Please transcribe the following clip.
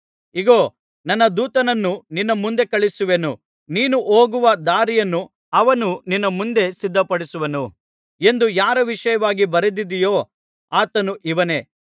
ಇಗೋ ನನ್ನ ದೂತನನ್ನು ನಿನ್ನ ಮುಂದೆ ಕಳುಹಿಸುವೆನು ನೀನು ಹೋಗುವ ದಾರಿಯನ್ನು ಅವನು ನಿನ್ನ ಮುಂದೆ ಸಿದ್ಧಪಡಿಸುವನು ಎಂದು ಯಾರ ವಿಷಯವಾಗಿ ಬರೆದದೆಯೋ ಆತನು ಇವನೇ